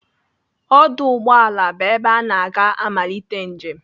Ọdụ ụgbọala bụ ebe ana aga amalite njem.